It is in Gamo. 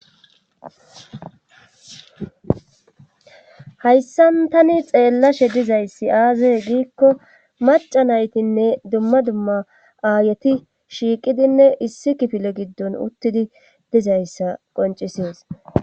hayssan tani xeellashe dizayssi aazae giikko maca naytinne dumma dumma aayeti shiiqidinne issi kifile giddon uttidi dizayssa qoncisies